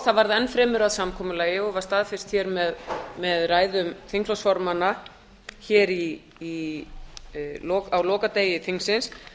það varð enn fremur að samkomulagi og var staðfest hér með ræðum þingflokksformanna á lokadegi þingsins